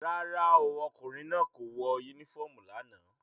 Rárá o, ọkùnrin náà kò wọ unifọmú lánàá.